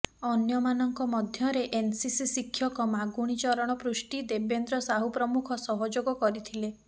ଅନ୍ୟମାନଙ୍କ ମଧ୍ୟରେ ଏନ୍ସିସି ଶିକ୍ଷକ ମାଗୁଣୀ ଚରଣ ପୃଷ୍ଟି ଦେବେନ୍ଦ୍ର ସାହୁ ପ୍ରମୁଖ ସହଯୋଗ କରିଥିଲେ